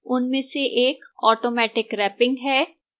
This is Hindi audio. उनमें से एक automatic wrapping है